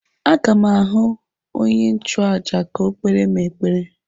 A ga m ahụ onye nchụaja ka o kpere mụ ekpere.